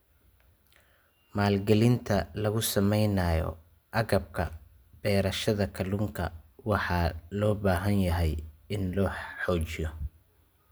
Maalgelinta lagu samaynayo agabka beerashada kalluunka waxa loo baahan yahay in la xoojiyo.